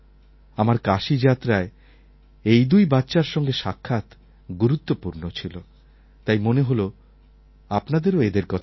আমার কাশী যাত্রায় এই দুই বাচ্চার সঙ্গে সাক্ষাৎ গুরুত্বপূর্ণ ছিল তাই মনে হল আপনাদেরও এদের কথা বলি